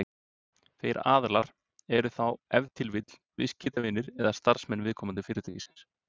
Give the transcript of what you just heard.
þeir aðilar eru þá ef til vill viðskiptavinir eða starfsmenn viðkomandi fyrirtækis